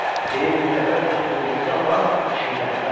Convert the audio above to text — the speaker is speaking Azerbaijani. Deyir bir dəfə öz klubumuza apar, şmidə, bəsimdir.